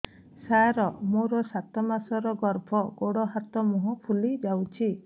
ସାର ମୋର ସାତ ମାସର ଗର୍ଭ ଗୋଡ଼ ହାତ ମୁହଁ ଫୁଲି ଯାଉଛି